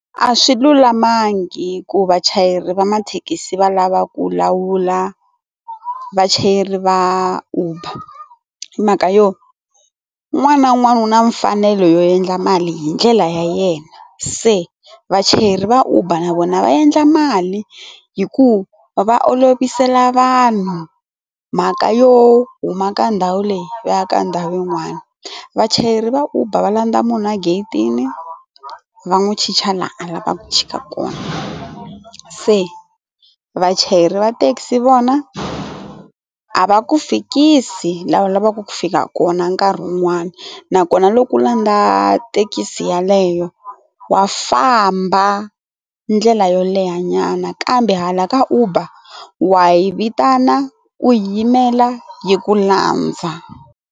A swi lulamangi ku vachayeri va mathekisi va lava ku lawula vachayeri va uber hi mhaka yo un'wana na un'wana u na mfanelo yo endla mali hi ndlela ya yena se vachayeri va uber na vona va endla mali hi ku va olovisela vanhu mhaka yo huma ka ndhawu leyi vaya ka ndhawu yin'wana, vachayeri va uber va landza munhu a gate-tini va n'wi chicha laha a lavaka ku chika kona se vachayeri va thekisi vona a a va ku fikisi laha u lavaka ku fika kona nkarhi wun'wani nakona loko u landza thekisi yaleyo wa famba ndlela yo leha nyana kambe hala ka uber wa yi vitana u yimela yi ku landza.